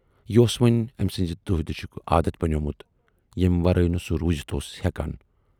یہِ اوس وۅنۍ ٲمۍ سٕنزِ دۅہہ دِشُک عادتھ بنوومُت، ییمہِ ورٲے نہٕ سُہ روٗزِتھ اوس ہٮ۪کان۔